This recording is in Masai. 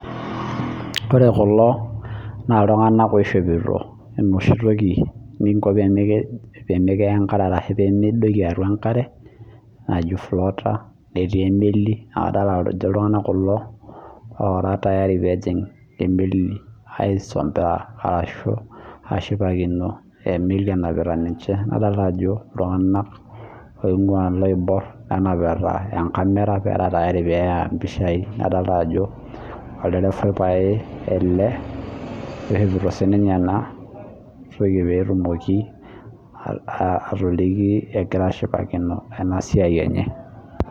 Ore kulo naa iltung'ana oishopito enoshi nichop pee midoiki atua enkare najii floater netii emeli naa kadolita Ajo iltung'ana kulo ora tayari pee ejing emeli aisombera arashu ashipakino emeli enapitai ninche nadolita Ajo iltung'ana oing'ua loibor nenapita enkamera nera tayari pee eya mpishai nadolita Ajo olderevai pae ele loishooito ena toki petumoki atokliki egira ashipakino ena siai enye